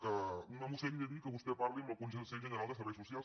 que una moció li hagi de dir que vostè parli amb el consell general de serveis socials